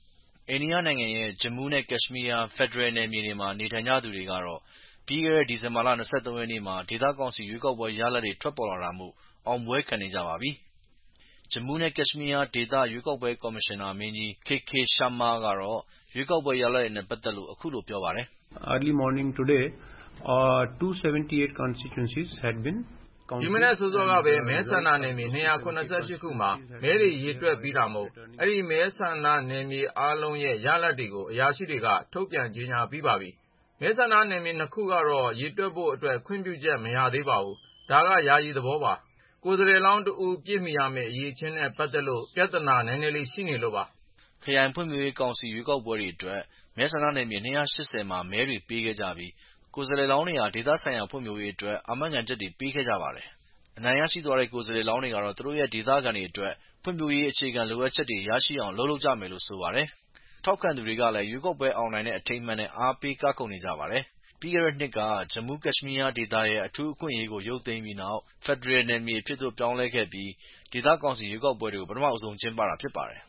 အိန္ဒိယနိုင်ငံရဲ့ Jammu and Kashmir ဖယ်ဒရယ်နယ်မြေတွေမှာ နေထိုင်ကြသူတွေကတော့ ဒီဇင်ဘာ ၂၃ ရက်နေ့မှာ ဒေသကောင်စီရွေးကောက်ပွဲ ရလာဒ်တွေ ထွက်ပေါ်လာတာမို့ အောင်ပွဲခံနေကြပါပြီ။ Jammu and Kashmir ဒေသ ရွေးကောက်ပွဲကော်မရှင်နာမင်းကြီး K.K. Sharma ကတော့ ရွေးကောက်ပွဲ ရလာဒ်တွေနဲ ပတ်သက်လို့အခုလို ပြောပါတယ်။ “ဒီမနက်စောစောကပဲ မဲဆန္ဒနယ်မြေ ၂၇၈ ခုမှာ မဲရေတွက်ပြီးတာမို့အဲဒီမဲဆန္ဒနယ် ၂၇၈ ခုလုံးရဲ့ ရလာဒ်တွေကို အရာရှိတွေက ထုတ်ပြန်ကြေညာပြီးပါပြီ။ မဲဆန္ဒနယ် ၂ ခုကတော့ ရေတွက်ဖို့အတွက် ခွင့်ပြုချက်မရသေးပါဘူး။ ဒါက ယာယီသဘောပါ။ ကိုယ်စားလှယ်လောင်းတဦး ပြည့်မီရမယ့် အရည်အချင်းနဲ့ပက်သက်လို့ ပြသာနာနည်းနည်းရှိလို့ပါ။” ခရိုင်ဖွံ့ဖြိုးရေးကောင်စီ ရွေးကောက်ပွဲအတွက် မဲဆန္ဒနယ်မြေ ၂၈၀ မှာ မဲတွေပေးခဲ့ကြပြီး ကိုယ်စားလှယ်လောင်းတွေဟာ သက်ဆိုင်ရာဒေသဖွံ့ဖြိုးရေးအတွက် အာမခံချက်တွေပေးခဲ့ကြပါတယ်။ အနိုင်ရရှိသွားတဲ့ကိုယ်စားလှယ်လောင်းတွေကတော့ သူတို့ဒေသခံတွေအတွက် ဖွံဖြိုးရေးအခြေခံလိုအပ်ချက်တွေရရှိအောင် အလုပ်လုပ်ကြမယ်လို့ဆိုပါတယ်။ ထောက်ခံသူတွေကလည်း ရွေးကောက်ပွဲ အောင်နိုင်တဲ့ အထိမ်းအမှတ်နဲ့ အားပေးကခုန်နေကြပါတယ်ခင်ဗျာ။ ပြီးခဲ့တဲ့နှစ်က Jammu and Kashmir ဒေသရဲ့ အထူးအခွင့်အရေးကို ရုတ်သိမ်းပြီး ဖယ်ဒရယ်နယ်မြေတွေအဖြစ် ပြောင်းလည်းခဲ့ပြီးနောက် ဒေသကောင်စီရွေးကောက်ပွဲတွေကို ပထမဦးဆုံးကျင်းပတာဖြစ်ပါတယ်